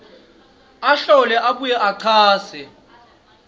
ahlole abuye achaze